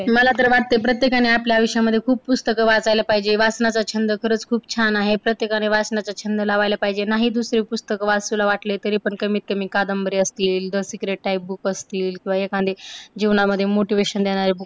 मला तर वाटते प्रत्येकाने आपल्या आयुष्यामध्ये खूप पुस्तकं वाचायला पाहिजे. वाचनाचा छंद खरचं खूप छान आहे. प्रत्येकाला वाचनाचा छंद लावायला पाहिजे. नाही दुसरे पुस्तके वाचावे वाटले, तरी कमीतकमी कादंबरी असतील the secret type book असतील किंवा एखांदी जीवनामध्ये motivation देणारी book